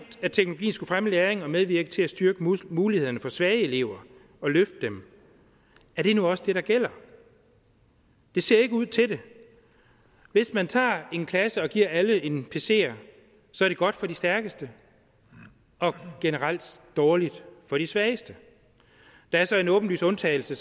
at teknologien skulle fremme læring og medvirke til at styrke mulighederne for svage elever og løfte dem er det nu også det der gælder det ser ikke ud til det hvis man tager en klasse og giver alle en pc så er det godt for de stærkeste og generelt dårligt for de svageste der er så en åbenlys undtagelse